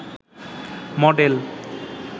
model